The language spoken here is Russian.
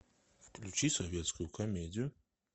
включи советскую комедию